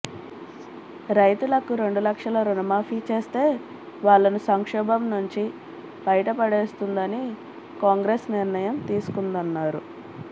రైతులకు రెండు లక్షల రుణమాఫీ చేస్తే వాళ్లను సంక్షోభం నుంచి బయటపడేస్తుందని కాంగ్రెస్ నిర్ణయం తీసుకుందన్నారు